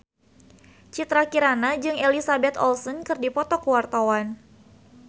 Citra Kirana jeung Elizabeth Olsen keur dipoto ku wartawan